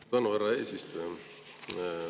Suur tänu, härra eesistuja!